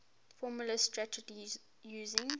formalised strategies using